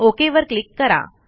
OKवर क्लिक करा